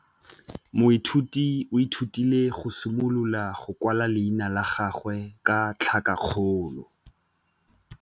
Moithuti o ithutile go simolola go kwala leina la gagwe ka tlhakakgolo.